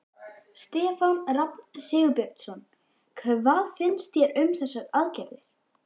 Stefán Rafn Sigurbjörnsson: Hvað finnst þér um þessar aðgerðir?